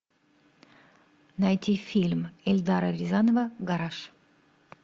найти фильм эльдара рязанова гараж